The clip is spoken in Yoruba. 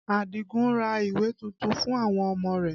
Adigun ra ìwé tuntun fún àwọn ọmọ rẹ